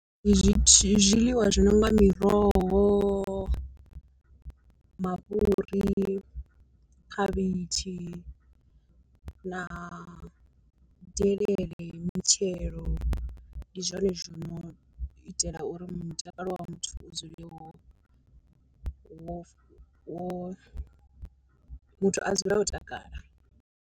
Zwi zwiḽiwa zwi no nga miroho, mafhuri, khavhitshi na delele mitshelo, ndi zwone zwino u itela uri mutakalo wa muthu u dzule wo wo wo muthu a dzule o takala.